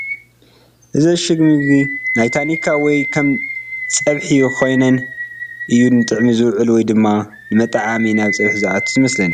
እዚ እሽግ ምግቢ ናይ ታኒካ ወይ ከም ፀብሒ ኾይነየ እዩ ንጥቕሚ ዝውዕል ወይ ድማ ንመጠዓዓሚ ናብ ፀብሒ ዝኣቱ እዩ ዝመስለኒ ።